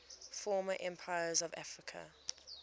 former empires of africa